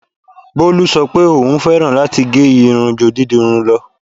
Bolú sọ pé òún fẹ́ràn láti gẹ́ irun ju dídirun lọ.